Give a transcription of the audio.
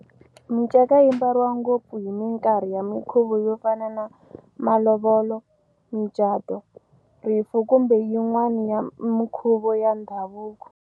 Minceka yimbariwa ngopfu hi minkarhi ya minkhuvo yo fana na malovolo, micato, rifu kumbe yin'wana minkhuvo ya ndhavuko.